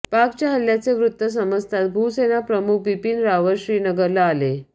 पाकच्या हल्ल्याचे वृत्त समजताच भूसेना प्रमुख बिपीन रावत श्रीनगरला आले